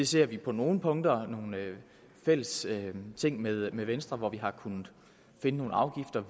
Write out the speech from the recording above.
ser vi på nogle punkter nogle fælles ting med med venstre hvor vi har kunnet finde nogle afgifter